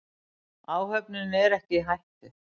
Áhöfnin er ekki í hættu.